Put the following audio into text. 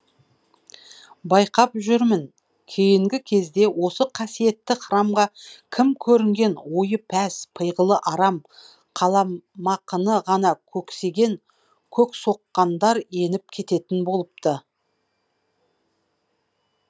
байқап жүрмін кейінгі кезде осы қасиетті храмға кім көрінген ойы пәс пиғылы арам қаламақыны ғана көксеген көксоққандар еніп кететін болыпты